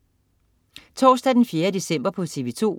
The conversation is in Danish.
Torsdag den 4. december - TV2: